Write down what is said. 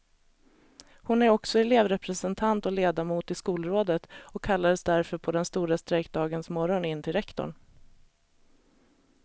Hon är också elevrepresentant och ledamot i skolrådet och kallades därför på den stora strejkdagens morgon in till rektorn.